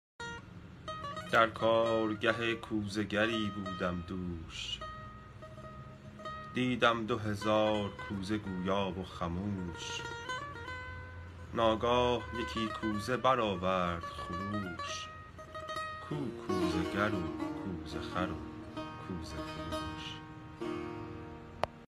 در کارگه کوزه گری رفتم دوش دیدم دو هزار کوزه گویا و خموش ناگاه یکی کوزه برآورد خروش کو کوزه گر و کوزه خر و کوزه فروش